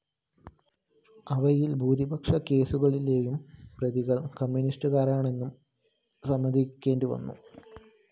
അവയില്‍ ഭൂരിപക്ഷം കേസുകളിലെയും പ്രതികള്‍ കമ്മ്യൂണിസ്റ്റുകാരാണെന്നും സമ്മതിക്കേണ്ടിവന്നു